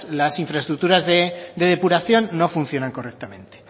las infraestructuras de depuración no funcionan correctamente